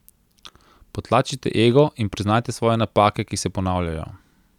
Potlačite ego in priznajte svoje napake, ki se ponavljajo.